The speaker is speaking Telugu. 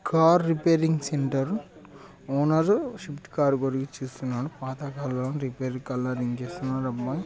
car repairing centre owner Swift car ఇస్తున్నాడు పాత కార్ రిపేర్ కలరింగ్ కి ఇస్తున్నాడు రమ్మని--